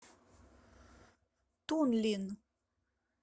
тунлин